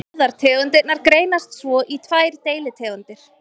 Báðar tegundirnar greinast svo í tvær deilitegundir.